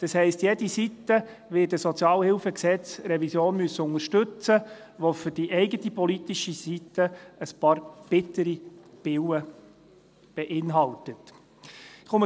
Das heisst, jede Seite wird die SHG-Revision, die für die eigene politische Seite ein paar bittere Pillen beinhaltet, unterstützen müssen.